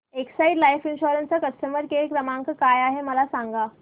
Exide life insurance चा customer care क्रमांक काय आहे मला सांगा